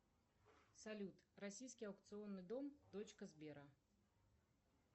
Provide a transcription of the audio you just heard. салют российский аукционный дом точка сбера